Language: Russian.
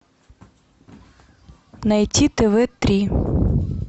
найти тв три